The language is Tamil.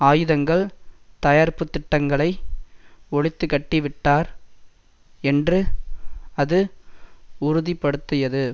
ஆயுதங்கள் தயாரிப்புத்திட்டங்களை ஒழித்துக்கட்டிவிட்டார் என்று அது உறுதி படுத்தியது